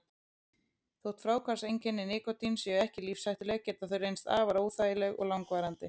Þótt fráhvarfseinkenni nikótíns séu ekki lífshættuleg geta þau reynst afar óþægileg og langvarandi.